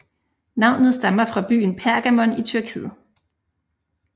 Navnet stammer fra byen Pergamon i Tyrkiet